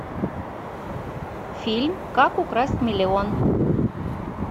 фильм как украсть миллион